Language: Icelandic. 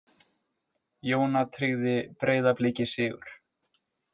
Jóna tryggði Breiðabliki sigur